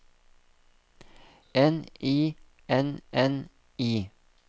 N I N N I